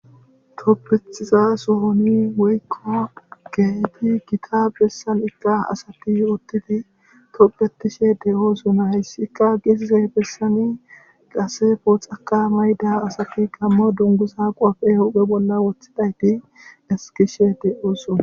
Toppetiza sohoni woykko geeti gita bessan ikka asati yootidi tophetishe de7oosuna hyssikka gisize bessani qaase pooxaka mayda asati gammo dungusa qophe uphe bolla wothidayti eskishe de7oosuna